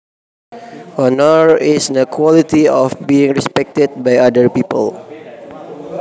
Honor is the quality of being respected by other people